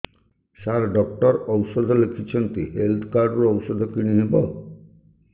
ସାର doctor ଔଷଧ ଲେଖିଛନ୍ତି health card ରୁ ଔଷଧ କିଣି ହେବ